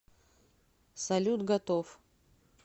салют готов